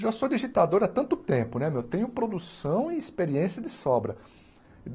Já sou digitador há tanto tempo né meu, tenho produção e experiência de sobra.